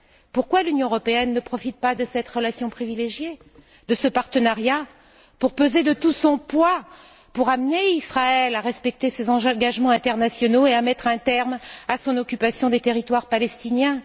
Pourquoi l'Union européenne ne profite t elle pas de cette relation privilégiée, de ce partenariat, pour peser de tout son poids, pour amener Israël à respecter ses engagements internationaux et à mettre un terme à son occupation des territoires palestiniens?